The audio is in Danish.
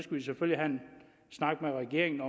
snak med regeringen